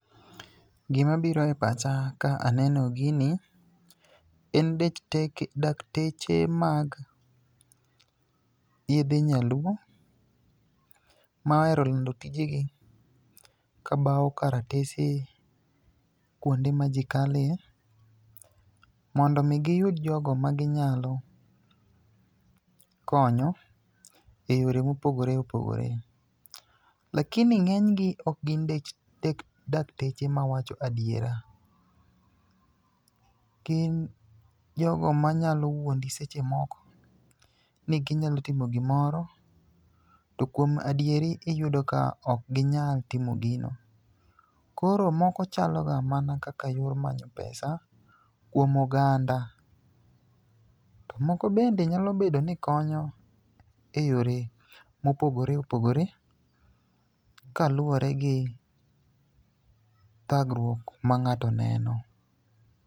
Gimabiro e pacha ka aneno gini, en dakteche mag yedhe nyaluo mohero lando tijegi kabawo karatese kwonde ma ji kale, mondo omi giyud jogo maginyalo konyo,e yore mopogore opogore. Lakini ng'enygi, ok gin dakteche mawacho adiera, gin jogo manyalo wuondi seche moko ni ginyalo timo gimoro, to kuom adieri iyudo ka ok ginyal timo gino. Koro moko chalo ga mana kaka yor manyo pesa kuom oganda. To moko bende nyalo bedo ni konyo e yore mopogore opogore kaluwore gi thagruok ma ng'ato neno.